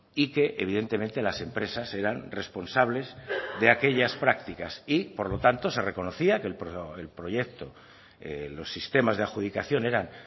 y que evidentemente las empresas eran responsables de aquellas prácticas y por lo tanto se reconocía que el proyecto los sistemas de adjudicación eran